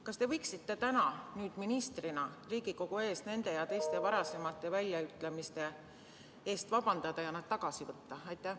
Kas te võiksite täna ministrina Riigikogu ees nende ja teiste varasemate väljaütlemiste eest vabandust paluda ja need tagasi võtta?